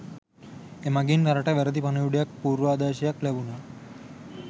එමගින් රටට වැරදි පණිවුඩයක් පුර්වාදර්ශයක් ලැබුණා